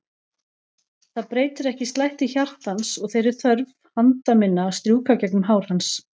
Það breytir ekki slætti hjartans og þeirri þörf handa minna að strjúka gegnum hár hans.